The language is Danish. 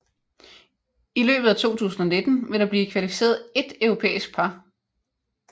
I løbet af 2019 vil der blive kvalificeret ét europæisk par